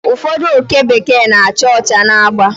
Ụfọdụ oke bekee na-acha ọcha na agba